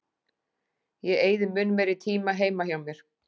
Ég eyði mun meiri tíma heima hjá mér.